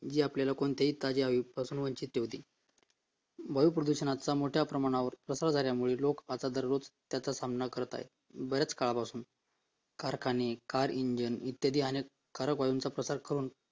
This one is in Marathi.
हे आपल्याला कोणत्याही ताजे हवेपासून वंचित होते वायू प्रदूषणावर आजच्या मोठ्या प्रमाणावर तसा झाल्यामुळे लोक आता दररोज त्याचा सामना करत आहे बरंच काळ पासून कारखाने, car engine, इत्यादी अनेक कारक वायूंचा प्रसार करून